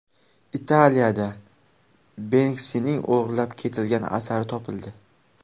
Italiyada Benksining o‘g‘irlab ketilgan asari topildi.